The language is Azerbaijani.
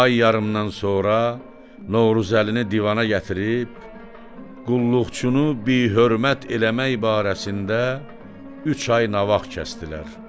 Ay yarımdan sonra Novruzəlini divana gətirib qulluqçunu bihürmət eləmək barəsində üç ay nağd kəsdilər.